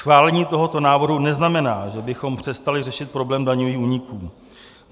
Schválení tohoto návrhu neznamená, že bychom přestali řešit problém daňových úniků.